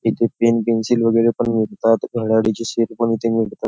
इथे पेन पेन्सिली वगैरे पण मिळतात घड्याळी चे सेल पण इथे मिळतात.